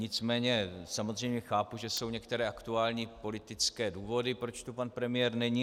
Nicméně samozřejmě chápu, že jsou některé aktuální politické důvody, proč tu pan premiér není.